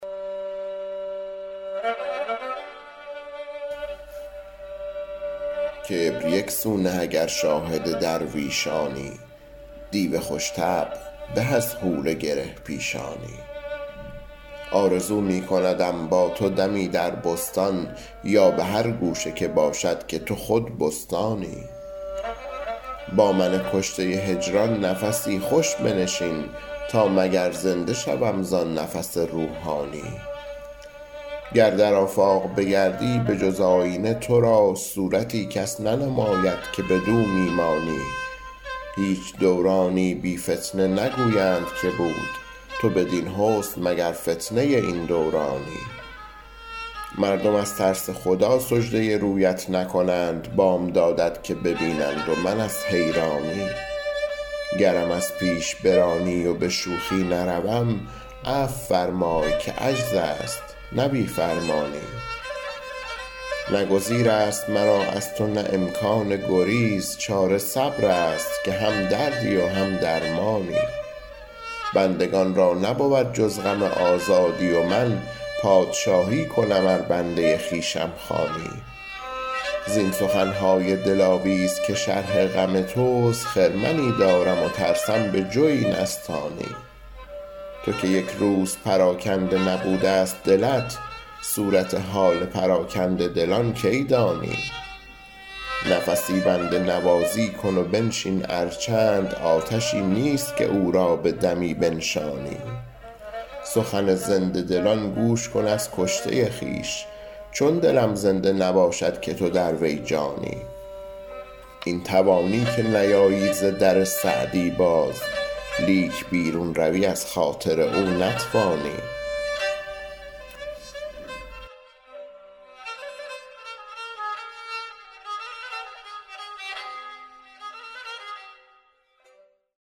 کبر یک سو نه اگر شاهد درویشانی دیو خوش طبع به از حور گره پیشانی آرزو می کندم با تو دمی در بستان یا به هر گوشه که باشد که تو خود بستانی با من کشته هجران نفسی خوش بنشین تا مگر زنده شوم زآن نفس روحانی گر در آفاق بگردی به جز آیینه تو را صورتی کس ننماید که بدو می مانی هیچ دورانی بی فتنه نگویند که بود تو بدین حسن مگر فتنه این دورانی مردم از ترس خدا سجده رویت نکنند بامدادت که ببینند و من از حیرانی گرم از پیش برانی و به شوخی نروم عفو فرمای که عجز است نه بی فرمانی نه گزیر است مرا از تو نه امکان گریز چاره صبر است که هم دردی و هم درمانی بندگان را نبود جز غم آزادی و من پادشاهی کنم ار بنده خویشم خوانی زین سخن های دلاویز که شرح غم توست خرمنی دارم و ترسم به جوی نستانی تو که یک روز پراکنده نبوده ست دلت صورت حال پراکنده دلان کی دانی نفسی بنده نوازی کن و بنشین ار چند آتشی نیست که او را به دمی بنشانی سخن زنده دلان گوش کن از کشته خویش چون دلم زنده نباشد که تو در وی جانی این توانی که نیایی ز در سعدی باز لیک بیرون روی از خاطر او نتوانی